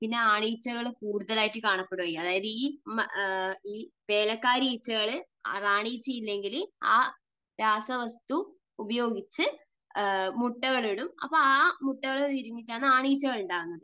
പിന്നെ ആൺ ഈച്ചകൾ കൂടുതൽ ആയിട്ട് കാണപ്പെടും. അതായത് ഈ വേലക്കാരി ഈച്ചകൾ റാണി ഈച്ച ഇല്ലെങ്കിൽ ആ രാസവസ്തു ഉപയോഗിച്ച് മുട്ടകളിടും. അപ്പോൾ ആ മുട്ടകൾ വിരിഞ്ഞിട്ടാണ് ആൺ ഈച്ചകൾ ഉണ്ടാകുന്നത്.